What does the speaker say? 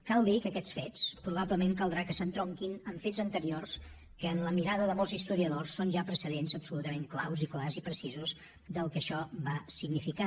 cal dir que aquests fets probablement caldrà que s’entronquin amb fets anteriors que en la mirada de molts historiadors són ja precedents absolutament claus i clars i precisos del que això va significar